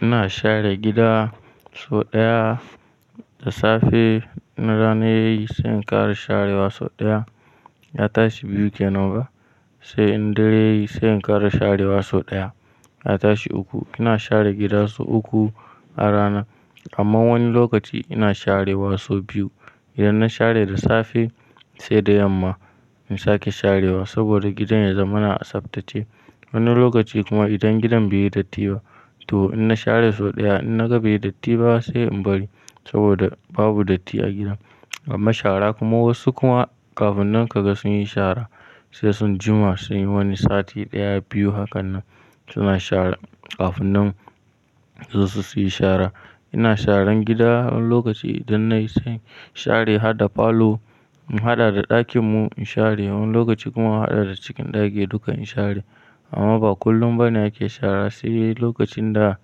Ina share gida sau ɗaya da safe. In rana yayi sai in ƙara sharewa sau ɗaya, ya tashi biyu kenan ba. Sai in dare yayi sai in ƙara sharewa sau ɗaya, ya tashi uku. Ina share gida sau uku a rana. Amma wani lokaci ina sharewa sau biyu. Idan na share da safe saida yamma in sake sharewa saboda gidan ya zamana a tsaftace. Wani lokaci kuma idan gidan baiyi datti ba to inna share sau ɗaya inna ga baiyi datti ba sai in bari saboda babu datti a gidan. Amma shara kuma wasu kuma kafin nan kaga sunyi shara sai sun juma suyi wani sati ɗaya, biyu hakanan suna shara kafin nan suzo su siyi shara. Ina sharan gida wani lokaci idan na yi sai in share harda folo, in haɗa da ɗakin mu in share. Wani lokaci kuma in haɗa da cikin ɗaki duka in share. Amma ba kullum bane ake shara sai lokacin da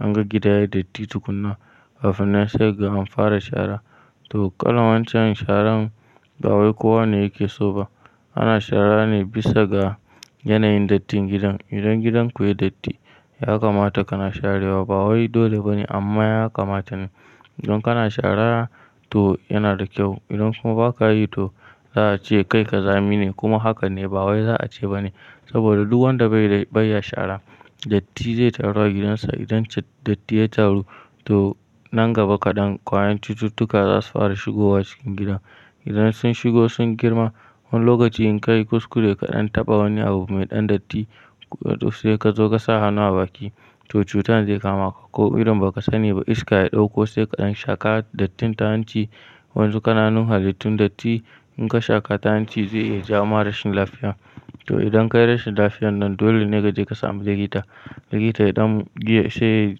anga gida yayi datti tukuna kafin na sai kaga an fara shara. To, kalan wancan sharan ba wai kowa ne yake soba. Ana shara ne bisa ga yanayin dattin gidan. Idan gidanku yayi datti, ya kamata kana sharewa. Bawai dole bane amma ya kamata ne. Idan kana shara to yana da ƙyau. Idan kuma baka yi to za'ace kai ƙazami ne kuma hakan ne bawai za'a ce bane saboda duk wanda bai, bai ya shara datti zai taru a gidansa. Idan datti ya taru to nan gaba kaɗan ƙwayen cututtuka zasu fara shigowa cikin gidan. Idan sun shigi sun girma wani lokaci in kayi kuskure kaɗan taɓa wani abu mai ɗan datti sai kazo kasa hannu a bakin to cutar zai kama ka. Ko irin baka sani ba iska ya ɗauko sai kaɗan shaƙa dattin ta hanci waƴansu kananun halittun datti in ka shaƙa ta hanci zai iya jawoma rashin lafiya. To, idan kayi rashin lafiyar nan dole ne kaje ka sami likita. Likita ya ɗan saits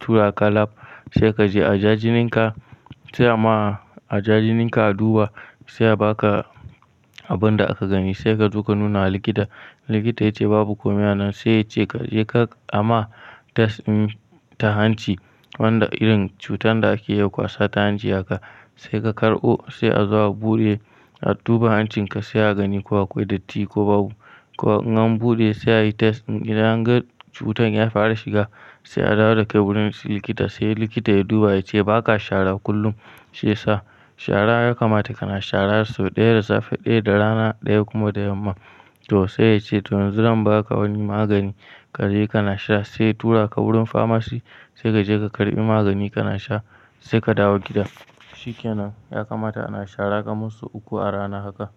tura ka lab sai kaje aja jinin ka sai ama aja jinin ka aduba sai a baka abin da aka gani sai kazo ka nuna wa likita. Likita yace babu komai a nan sai ya ce kaje ka ama test ta hanci wanda irin cutar da ake iya ƙwasa ya hanci haka saika karbo sai azo a bude a duba hancin ka sai a gani ko akwai datti ko babu. Ko in an buɗe sai anyi test idan an ga cutar ya fara shiga sai a dawo dakai wurin likita sai likita ya duba ya ce baka shara kullum shiyasa. Shara ya kamata kana shara sau ɗaya da safe ɗaya da rana ɗaya kuma da yamma. To sai yace tun yanzu zan baka wani magani kaje kana sha sai ya turaka wurin famasi sai kaje ka karɓi magani kana sha saika dawo gida. Shikenan ya kamata ana shara kamar sau uku a rana haka.